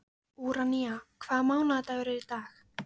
Úranía, hvaða mánaðardagur er í dag?